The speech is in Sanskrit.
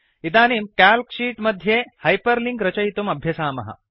इदानीं क्याल्क् शीट् मध्ये हैपर् लिंक् रचयितुम् अभ्यसामः